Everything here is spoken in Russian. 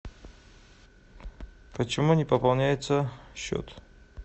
почему не пополняется счет